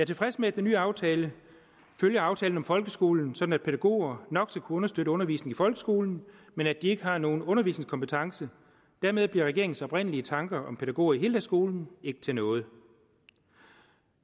tilfreds med at den nye aftale følger aftalen om folkeskolen sådan at pædagoger nok skal kunne understøtte undervisningen i folkeskolen men at de ikke har nogen undervisningskompetence dermed bliver regeringens oprindelige tanker om pædagoger i heldagsskolen ikke til noget